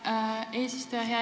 Hea eesistuja!